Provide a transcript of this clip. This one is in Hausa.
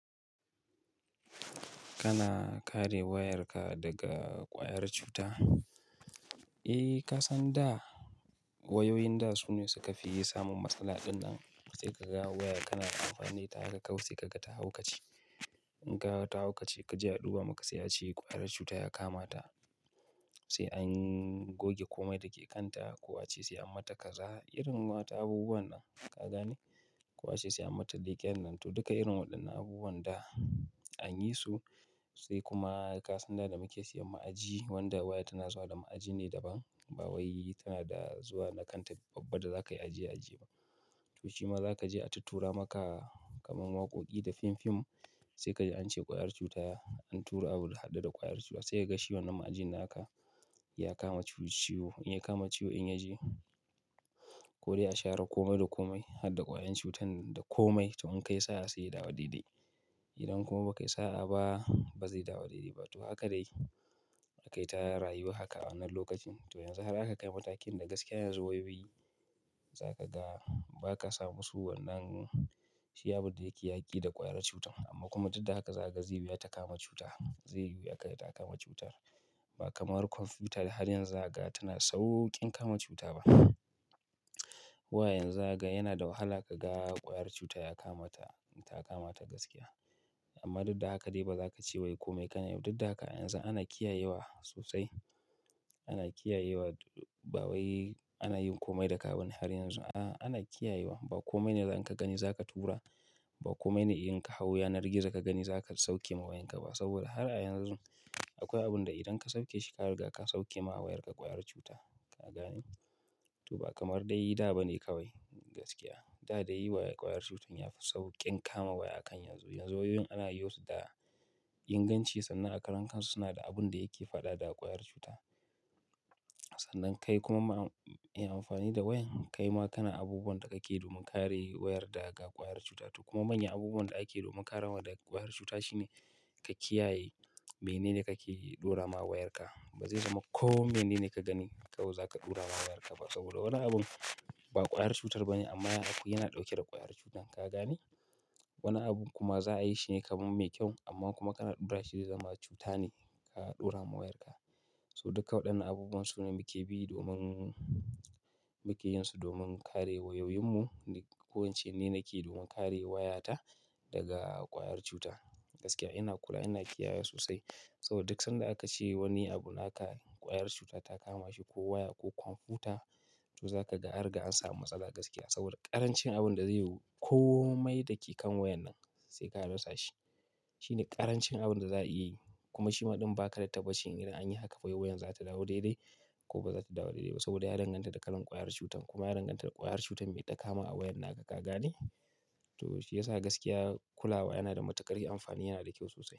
Kana kare wayarka daga ƙwayar cuta? Eh, ka san da wayoyin da su ne suka fi yawan samun matsala din nan. Sai ka ga waya kana amfani da ita sai kaga ta haukace. In ka ga ta haukace ka je a duba maka sai a ce ƙwayar cuta ya kama ta. Sai an goge komai da ke kanta ko a ce sai an mata kaza. Irin wata abubuwan nan, ka gane? Ko a ce sai an mata leƙen nan. To, duka irin waɗannan abubuwan da an yi su sai kuma ka san da da muke siyan ma'aji wanda waya tana zuwa da ma'aji ne daban. Bawai tana da zuwa na kanta babba da za ka yi aji, aji. To shima za ka je a tatura maka kamar waƙoƙi da fim fim sai ka je an ce ƙwayar cuta an tura abu da haɗe da ƙwayar cuta. Sai ka ga shi wannan ma'ajin naka ya kama ciwo ciwo in ya kama ciwo in ya je ko dai a share komai da komai haɗe da ƙwayar cutan da komai. To in ka yi sa'a sai ya dawo daidai. Idan kuma ba ka yi sa'a ba, ba zai dawo daidai ba. To haka dai aka yi ta rayuwa haka a wannan lokacin. To yanzu har aka kai matakin da gaskiya yanzu wayoyi za ka ga ba ka samu su wannan shi abu da yake yaƙi da ƙwayar cutan. Amma kuma duk da haka za ka ga zai biya ta kama cuta. Zai yiwu ya kai ta kama cutar. Ba kamar kwamfuta da har yanzu za ka, tana sauƙin kama cuta ba. Wayoyin za ka ga yana da wahala ka ga ƙwayar cuta ya kama ta, ta kama ta gaskiya. Amma duk da haka dai ba za ka ce wa komai kana yau. Duk da haka yanzu ana kiyayewa sosai. Ana kiyayewa bawai, ana yin komai da ka bane har yanzu. A'a, ana kiyayewa. Ba komai ne da in ka gani za ka tura, ba komai ne in ka hau yanar gizo ka gani za ka sauke ma wayanka ba. Saboda har a yanzu akwai abun da idan ka sauke shi ka riga ka sauke ma wayarka ƙwayar cuta. Ka gane? To ba kamar dai da ba ne kawai gaskiya. Da da yi wayar ƙwayar cutar ya fi sauƙin kama waya akan yanzu. Yanzu wayoyin ana yi wa su da inganci sannan a karan kansu suna da abun da yake faɗa da ƙwayar cuta. Sannan kai kuma ma in amfani da wayan kai ma kana abubuwan da kake domin kare wayar daga ƙwayar cuta. To kuma manyan abubuwan da ake domin karewa daga ƙwayar cuta shine ka kiyaye menene kake ɗora ma wayarka. Ba zai zama komai ne da ka gani ka kawai za ka ɗora ma wayarka ba. Saboda wani abun ba ƙwayar cutar ba ne amma yana ɗauke da ƙwayar cutan. Ka gane? Wani abun kuma za a yi shine kamun mai kyau amma kuma kana ɗora shi zama cuta ne ka ɗora ma wayarka. So duka waɗannan abubuwan su ne muke bi domin muke yin su domin kare wayoyinmu. Ko ince ni nake domin kare wayata daga ƙwayar cuta. Gaskiya ina kula, ina kiyaye sosai. Saboda duk sanda aka ce wani abu naka ƙwayar cuta ta kama shi ko waya ko kwamfuta to za ka ga an riga an samu matsala gaskiya. Saboda ƙarancin abun da zai komai da ke kan wayan nan sai ka rasa shi. Shine ƙarancin abun da za a yi. Kuma shima ɗin ba ka da tabbacin idan anyi haka wayoyin za su dawo daidai ko ba za su dawo daidai ba. Saboda ya danganta da kalan ƙwayar cutan. Kuma ya danganta da ƙwayar cutar me ya dakama a wayan naka. Ka gane? To shi ya sa gaskiya kulawa yana da matuƙar amfani, yana da kyau sosai.